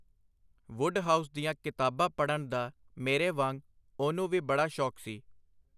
Wodehouse ਦੀਆਂ ਕਿਤਾਬਾਂ ਪੜ੍ਹਨ ਦਾ, ਮੇਰੇ ਵਾਂਗ, ਉਹਨੂੰ ਵੀ ਬੜਾ ਸ਼ੌਕ ਸੀ.